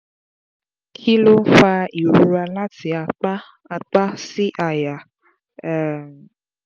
kí ló ń fa ìrora láti apá apá sí àyà? um